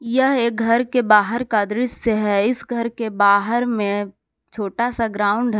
यह एक घर के बाहर का दृश्य है इस घर के बाहर में छोटा सा ग्राउंड है।